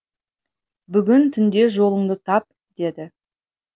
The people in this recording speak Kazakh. бүгін түнде жолыңды тап деді